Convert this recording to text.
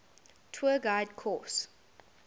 tour guide course